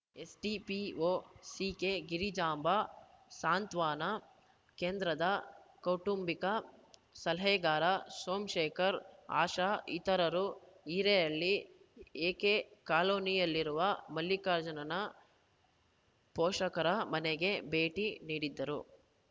CDPO C K Girijamba ಸಾಂತ್ವನ ಕೇಂದ್ರದ ಕೌಟುಂಬಿಕ ಸಲಹೆಗಾರ ಸೋಮಶೇಖರ್‌ ಆಶಾ ಇತರರು ಹಿರೇಹಳ್ಳಿ ಎಕೆಕಾಲೋನಿಯಲ್ಲಿರುವ ಮಲ್ಲಿಕಾರ್ಜುನನ ಪೋಷಕರ ಮನೆಗೆ ಭೇಟಿ ನೀಡಿದ್ದರು